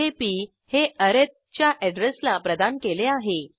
येथे पी हे अरिथ च्या अॅड्रेसला प्रदान केले आहे